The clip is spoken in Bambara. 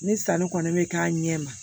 Ni sanni kɔni bɛ k'a ɲɛ ma